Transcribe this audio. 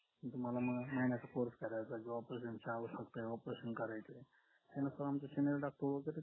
तुम्हाला मग महिन्याचा course करायचा ज्या operation ची आवश्यकता operation करायचं